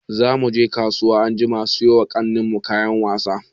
Za mu je kasuwa anjima siyo ma ƙanin mu kayan wasa.